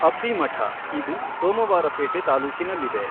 ಅಬ್ಬಿ ಮಠಇದು ಸೋಮವಾರಪೇಟೆ ತಾಲೂಕಿನಲ್ಲಿದೆ.